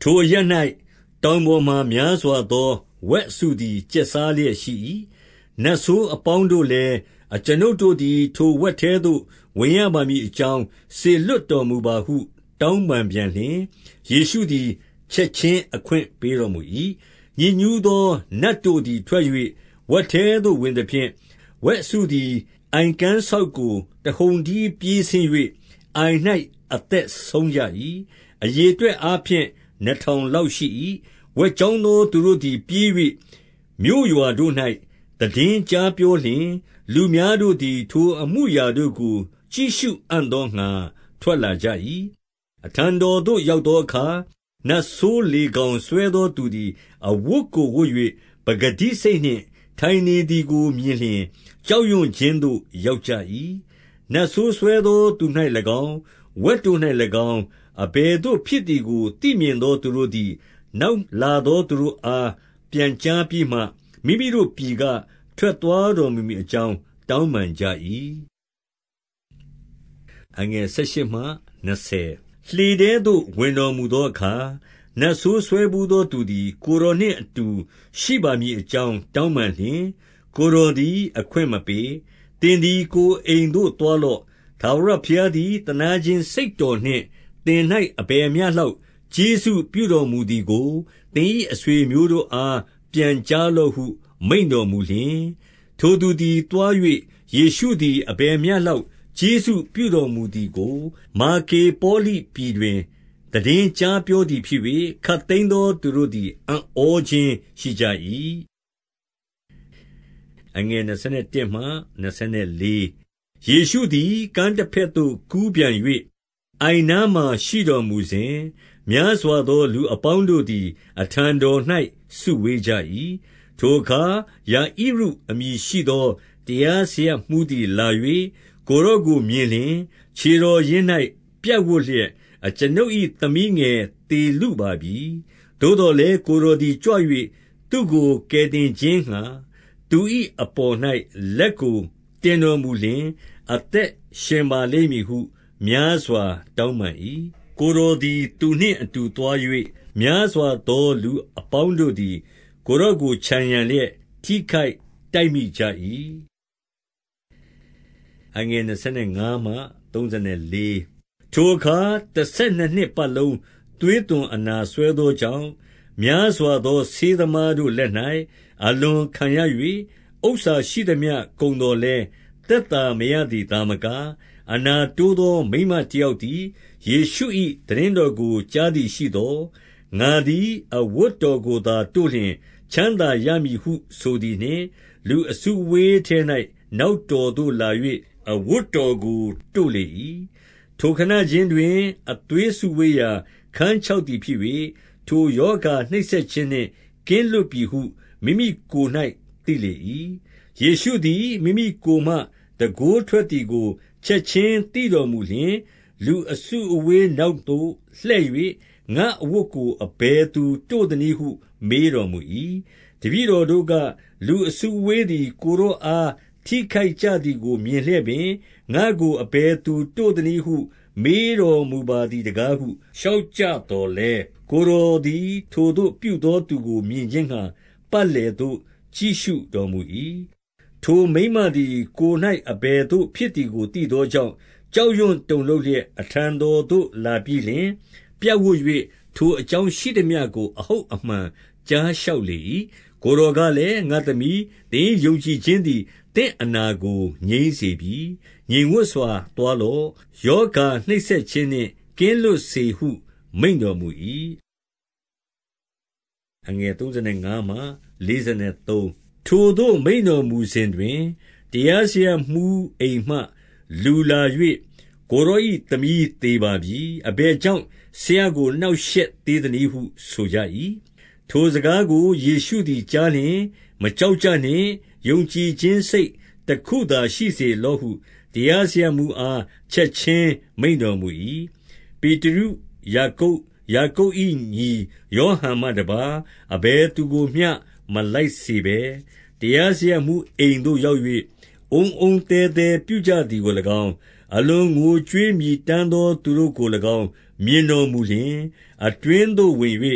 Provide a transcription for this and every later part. ထိုအရပ်၌ တောင်ပေါ်မှာ များစွာသော ဝက်အစုသည် ကျက်စားလျက်ရှိ၏။ 12 နတ်ဆိုးအပေါင်းတို့လည်း၊ အကျွန်ုပ်တို့သည် ထိုဝက်ထဲသို့ ဝင်ရပါမည်အကြောင်း စေလွှတ်တော်မူပါ ဟု တောင်းပန်ပြန်လျှင်၊ 13 ယေရှုသည် ချက်ခြင်းအခွင့်ပေးတော်မူ၏။ ညစ်ညူးသောနတ်တို့သည် ထွက်၍ ဝက်ထဲသို့ ဝင်သဖြင့် ဝက်အစုသည် အိုင်ကမ်းစောက်ကို တဟုန်တည်းပြေးဆင်း၍ အိုင်၌အသက်ဆုံးကြ၏။ အရေအတွက်အားဖြင့် နှစ်ထောင်လောက်ရှိ၏။ 14 ဝက်ကျောင်းသောသူတို့သည် ပြေး၍မြို့ရွာတို့၌ သိတင်းကြားပြောလျှင်၊ လူများတို့သည် ထိုအမူအရာ တို့ကို ကြည့်ရှုအံ့သောငှါ ထွက်လာကြ၏။ 15 အထံတော်သို့ ရောက်သောအခါ၊ နတ်ဆိုး လေဂေါင်စွဲသောသူသည် အဝတ်ကိုဝတ်၍ ပကတိစိတ် နှင့် ထိုင်နေသည်ကိုမြင်လျှင်၊ ကြောက်ရွံ့ခြင်းသို့ ရောက်ကြ၏။ 16 နတ်ဆိုးစွဲသောသူ၌၎င်း၊ ဝက်တို့၌၎င်း၊ အဘယ်သို့ဖြစ်သည်ကို သိမြင်သောသူတို့သည် နောက်လာ သောသူတို့အား ပြန်ကြားပြီးမှ၊ 17 မိမိတို့ပြည်က ထွက်သွားတော်မူမည်အကြောင်း တောင်းပန်ကြ၏။ 18 လှေထဲသို့ ဝင်တော်မူသောအခါ နတ်ဆိုးစွဲဘူးသောသူသည် ကိုယ်တော်နှင့်အတူ ရှိပါမည်အကြောင်း တောင်းပန်လျှင်၊ 19 ကိုယ်တော်သည် အခွင့်မပေး။ သင်သည် ကိုယ်အိမ်သို့သွားလော့။ ထာဝရဘုရားသည် သနားခြင်းစိတ် တော်နှင့် သင်၌ အဘယ်မျှလောက် ကျေးဇူးပြုတော်မူသည်ကို သင်၏အဆွေအမျိုးတို့အား ပြန်ကြားလော့ဟု မိန့်တော်မူလျှင်၊ 20 ထိုသူသည် သွား၍၊ ယေရှုသည် အဘယ်မျှလောက် ကျေးဇူးပြုတော်မူသည်ကို၊ ဒေကာပေါလိပြည် တွင် သိတင်းကြားပြောသည်ဖြစ်၍၊ ခပ်သိမ်းသောသူတို့သည် အံ့ဩခြင်းရှိကြ၏။ 21 ယေရှုသည် ကမ်းတဘက်သို့ကူးပြန်၍ အိုင်နားမှာ ရှိတော်မူစဉ်၊ များစွာသောလူအပေါင်းတို့သည် အထံတော်၌ စုဝေးကြ၏။ 22 ထိုအခါ ယာဣရုအမည်ရှိသော တရားစရပ်မှူးသည်လာ၍ ကိုယ်တော်ကိုမြင်လျှင်၊ ခြေတော်ရင်း၌ ပြပ်ဝပ်လျက်၊ အကျွန်ုပ်၏ သမီးငယ်သေလုပါပြီ။ 23 သို့သော်လည်း ကိုယ်တော်သည်ကြွ၍ သူ့ကို ကယ်တင်ခြင်းငှါ သူ၏အပေါ်၌ လက်ကိုတင်တော်မူလျင် အသက်ရှင်ပါလိမ့်မည်ဟု များစွာတောင်းပန်၏။ 24 ကိုယ်တော်သည် သူနှင့်အတူသွား၍ များစွာသော လူအပေါင်းတို့သည် ကိုယ်တော်ကို ခြံရံလျက် ထိခိုက်တိုက်မိကြ၏။ 25 ထိုအခါ တဆယ်နှစ်နှစ်ပတ်လုံး သွေးသွန်အနာ စွဲသောကြောင့်၊ 26 များစွာသော ဆေးသမားတို့လက်၌ အလွန်ခံရ၍၊ ဥစ္စာရှိသမျှ ကုန်သော်လည်း သက်သာမရသည် သာမက၊ အနာတိုးသော မိန်းမတယောက်သည်၊ 27 ယေရှု၏သိတင်းတော်ကို ကြားသည်ရှိသော်၊ 28 ငါသည် အဝတ်တော်ကိုသာတို့လျှင် ချမ်းသာရမည်ဟု ဆိုသည်နှင့်၊ လူအစုအဝေးထဲ၌ နောက်တော်သို့ လာ၍အဝတ်တော်ကို တို့လေ၏။ 29 ထိုခဏခြင်းတွင် အသွေးစုဝေးရာ ခန်းချောက်သည်ဖြစ်၍၊ ထိုရောဂါနှိပ်စက်ခြင်းနှင့် ကင်းလွတ်ပြီဟု မိမိကိုယ်၌သိလေ၏။ 30 ယေရှုသည် မိမိကိုယ်မှ တန်ခိုးထွက်သည်ကို ချက်ခြင်းသိတော်မူလျှင် လူအစုအဝေး၌ နောက်သို့လှည့် ၍၊ ငါ့အဝတ်ကို အဘယ်သူတို့သနည်းဟု မေးတော်မူ၏။ 31 တပည့်တော်တို့က၊ လူအစုအဝေးသည် ကိုယ်တော်အား ထိခိုက်ကြသည်ကိုမြင်လျက်ပင်၊ ငါ့ကို အဘယ်သူ တို့သနည်းဟုမေးတော်မူပါသည်တကားဟု လျှောက်ကြသော်လည်း၊ 32 ကိုယ်တော်သည် ထိုသို့ပြုသောသူကို မြင်ခြင်းငှါ၊ ပတ်လည်သို့ ကြည့်ရှုတော်မူ၏။ 33 ထိုမိန်းမသည် ကိုယ်၌အဘယ်သို့ဖြစ်သည်ကိုသိသောကြောင့် ကြောက်ရွံ့တုန်လှုပ်လျက် အထံတော်သို့ လာပြီးလျှင်၊ ပြပ်ဝပ်၍ ထိုအကြောင်းရှိသမျှကို အဟုတ်အမှန်ကြားလျှောက်လေ၏။ 34 ကိုယ်တော်ကလည်း၊ ငါ့သမီး၊ သင်၏ယုံကြည်ခြင်းသည် သင့်အနာကိုငြိမ်းစေပြီ။ ငြိမ်ဝပ်စွာ သွား လော့။ ရောဂါနှိပ်စက်ခြင်းနှင့် ကင်းလွတ်စေဟု မိန့်တော်မူ၏။ 35 ထိုသို့ မိန့်တော်မူစဉ်တွင် တရားစရပ်မှူးအိမ်မှလူလာ၍၊ ကိုယ်တော်၏သမီးသေပါပြီ။ အဘယ်ကြောင့် ဆရာကို နှောင့်ရှက်သေးသနည်းဟု ဆိုကြ၏။ 36 ထိုစကားကို ယေရှုသည်ကြားလျှင်၊ မကြောက်ကြနှင့်။ ယုံကြည်ခြင်းစိတ်တခုသာရှိစေလော့ဟု တရား စရပ်မှူးအား ချက်ခြင်းမိန့်တော်မူ၏။ 37 ပေတရု၊ ယာကုပ်၊ ယာကုပ်၏ညီယောဟန်မှတပါး အဘယ်သူကိုမျှ မလိုက်စေဘဲ၊ 38 တရားစရပ်မှူးအိမ်သို့ရောက်၍ အုန်းအုန်း သဲသဲပြုကြသည်ကို၎င်း မြင်တော်မူလျှင်၊ 39 အတွင်းသို့ဝင်၍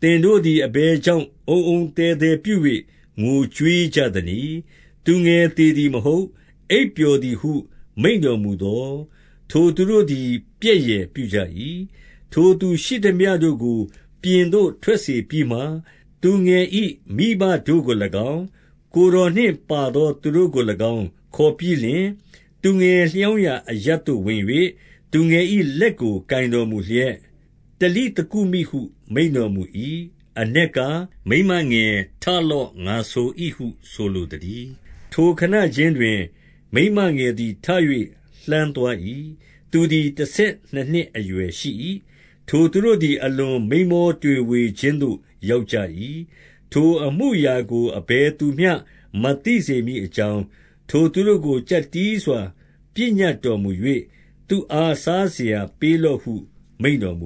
သင်တို့သည် အဘယ်ကြောင့် အုန်းအုန်းသဲသဲပြု၍ ငိုကြွေးကြသနည်း။ သုငယ်သေ သည်မဟုတ် အိပ်ပျော်သည်ဟု မိန့်တော်မူသော်၊ 40 ထိုသူတို့သည် ပြက်ယယ်ပြုကြ၏။ ထိုသူရှိသမျှတို့ကို ပြင်သို့ ထွက်စေပြီးမှ သူငယ်၏ မိဘတို့ကို၎င်း၊ ကိုယ်တော်နှင့်ပါသောသူတို့ကို၎င်း ခေါ်ပြီးလျှင်၊ သူငယ် လျောင်းရာအရပ်သို့ ဝင်၍၊ 41 သူငယ်၏လက်ကို ကိုင်တော်မူလျှက်၊ တလိသကုမိဟု မိန့်တော်မူ၏။ အနက်ကား၊ မိန်းမငယ်ထလော့ ငါဆို၏ဟု ဆိုလိုသတည်း။ 42 ထိုခဏခြင်းတွင် မိန်းမငယ်သည် ထ၍လှမ်းသွား၏။ သူသည် တဆယ်နှစ်နှစ်အရွယ်ရှိ၏။ ထိုသူတို့ သည် အလွန်မိန်းမောတွေဝေခြင်းသို့ ရောက်ကြ၏။ 43 ထိုအမူအရာကို အဘယ်သူမျှ မသိစေမည်အကြောင်း၊ ထိုသူတို့ကို ကျပ်တည်းစွာ ပညတ်တော်မူ၍၊ သူ့အား စားစရာပေးလော့ဟု မိန့်တော်မူ